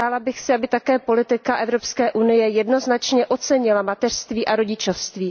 Přála bych si, aby také politika Evropské unie jednoznačně ocenila mateřství a rodičovství.